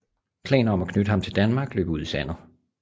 Planer om at knytte ham til Danmark løb ud i sandet